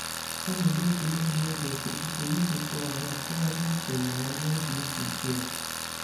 Ọ na-edetu ihe n'oge okwuchukwu iji tụgharị tụgharị uche na ya n'oge izu ike ya.